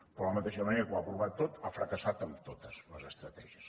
però de la mateixa manera que ho ha provat tot ha fracassat en totes les estratègies